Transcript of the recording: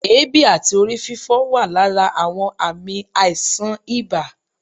èébi àti orí-fífọ́ wà lára àwọn ààmì aíṣan ìbá